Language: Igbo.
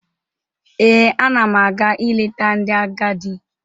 Ee, ana m aga ileta ndị agadi.